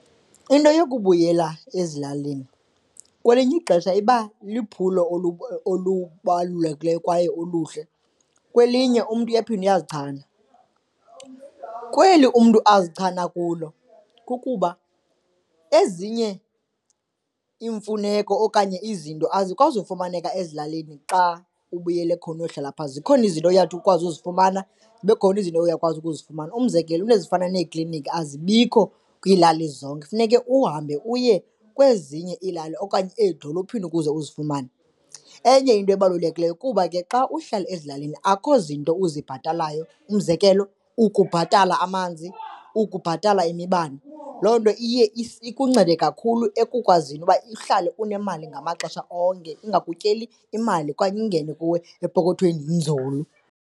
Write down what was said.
Into yokubuyela ezilalini kwelinye ixesha iba liphulo olubalulekileyo kwaye oluhle, kwelinye umntu uyaphinda uyazichana. Kweli umntu azichana kulo kukuba ezinye iimfuneko okanye izinto azikwazi ufumaneka ezilalini xa ubuyele khona uyohlala phaa. Zikhona izinto oyawuthi ukwazi uzifumana, zibe khona izinto oyawukwazi ukuzifumana, umzekelo iinto ezifana neekliniki azibikho kwiilali zonke, funeke uhambe uye kwezinye iilali okanye edolophini ukuze uzifumane. Enye into ebalulekileyo kuba ke xa uhlala ezilalini akukho zinto uzibhatalayo. Umzekelo, ukubhatala amanzi, ukubhatala imibane, loo nto iye ikuncede kakhulu ekukwazini uba uhlale unemali ngamaxesha onke, ingakutyeli imali okanye ingene kuwe epokothweni nzulu.